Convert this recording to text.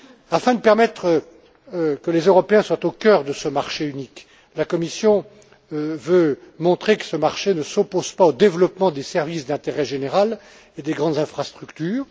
Afin de permettre que les Européens soient au cœur de ce marché unique, la Commission veut montrer que ce marché ne s'oppose pas au développement des services d'intérêt général et des grandes infrastructures.